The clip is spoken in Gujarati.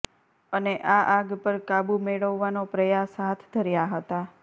અને આ આગ પર કાબૂ મેળવવાનો પ્રયાસ હાથ ધર્યા હતા